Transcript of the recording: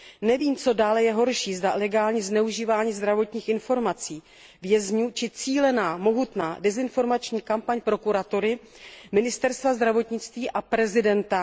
Nevím, co je dále horší, zda legální zneužívání zdravotních informací vězňů či cílená, mohutná desinformační kampaň prokuratury, ministerstva zdravotnictví a prezidenta.